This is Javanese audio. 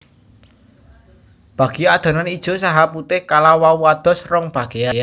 Bagi adonan ijo saha putih kala wau dados rong bageyan